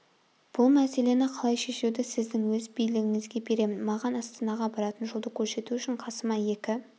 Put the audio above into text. бұл мәселені қалай шешуді сіздің өз билігіңізге беремін маған астанаға баратын жолды көрсету үшін қасыма екі